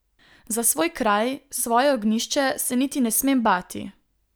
Za svoj kraj, svoje ognjišče se niti ne smem bati.